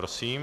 Prosím.